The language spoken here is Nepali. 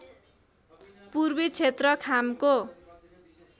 पूर्वी क्षेत्र खामको